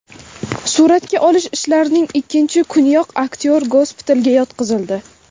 Suratga olish ishlarining ikkinchi kuniyoq aktyor gospitalga yotqizildi.